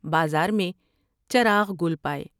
بازار میں چراغ گل پاۓ ۔